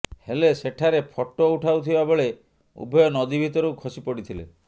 ହେଲେ ସେଠାରେ ଫଟୋ ଉଠାଉଥିବା ବେଳେ ଉଭୟ ନଦୀ ଭିତରକୁ ଖସି ପଡିଥିଲେ